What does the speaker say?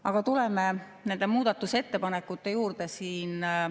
Aga tuleme muudatusettepanekute juurde.